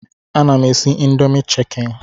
Ana m esi indomi chikeni